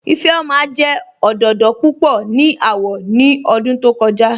Ifẹ́ọma jẹ́ ọdọdọ púpọ̀ ni awọ̀ ni ọ̀dún tó kọ̀ja